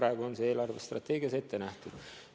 See on eelarve strateegias nii ette nähtud.